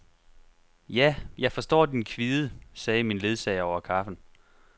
Ja, jeg forstår din kvide, sagde min ledsager over kaffen.